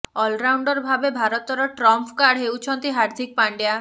all-rounder ଭାବେ ଭାରତର trump card ହେଉଛନ୍ତି ହାର୍ଦିକ ପାଣ୍ଡ୍ୟା